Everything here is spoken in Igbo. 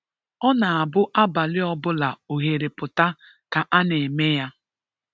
Ọ na abụ abalị ọ bụla oghere pụtara ka a na-eme ya.